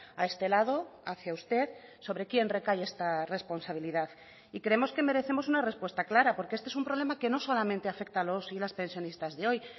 a este lado hacia usted sobre quién recae esta responsabilidad y creemos que merecemos una respuesta clara porque este es un problema que no solamente afecta a los y las pensionistas de hoy